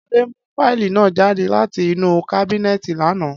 Ade mu fáìlì naa jade lati inu kábínéètì lana.